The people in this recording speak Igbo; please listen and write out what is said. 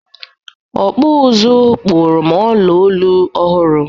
Ọkpụ ụzụ kpụrụ m ọla olu ọhụrụ.